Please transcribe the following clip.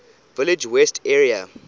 village west area